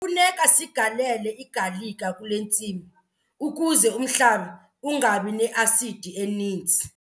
Kufuneka sigalele igalika kule ntsimi ukuze umhlaba ungabi ne-asidi eninzi.